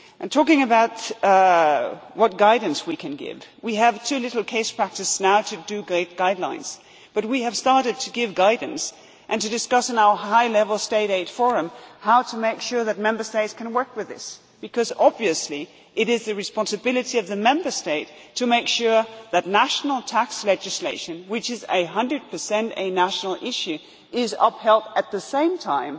Talking about what guidance we can give, we have too little case practice now to make great guidelines, but we have started to give guidance and to discuss in our high level State aid forum how to make sure that Member States can work with this, because obviously it is the responsibility of the Member States to make sure that national tax legislation, which is 100 a national issue, is upheld at the same